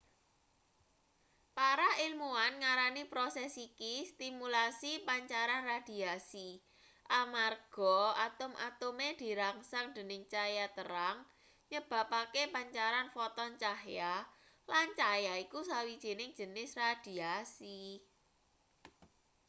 para ilmuan ngarani proses iki stimulasi pancaran radiasi amarga atom-atome dirangsang dening cahya terang nyebabake pancaran foton cahya lan cahya iku sawijining jenis radiasi